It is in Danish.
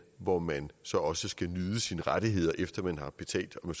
hvor man så også skal nyde sine rettigheder efter man har betalt om